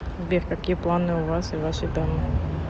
сбер какие планы у вас и вашей дамы